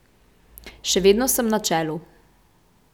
Še vedno sem na čelu.